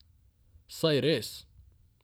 Saj res!